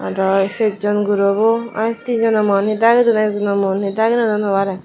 aro a ser jon guro bu iy he di jono mun he dagi dun ek jono mu dagi nw dun hobare.